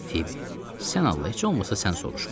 Fibi, sən Allah heç olmasa sən soruşma.